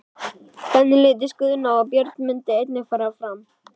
Hvernig litist Guðna á að Björn myndi einnig fara fram?